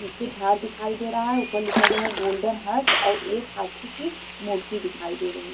पीछे झाड़ दिखाई दे रहा है उपर लिखा गया है गोल्डन हट्स और एक हाथी की मूर्ति दिखाई दे रही है ।